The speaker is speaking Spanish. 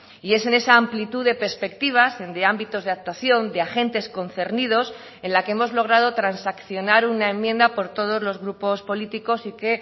y es en esa amplitud de perspectivas de ámbitos de actuación de agentes concernidos en la que hemos logrado transaccionar una enmienda por todos los grupos políticos y que